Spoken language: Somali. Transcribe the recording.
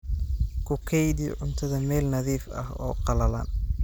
Ku kaydi cuntada meel nadiif ah oo qallalan.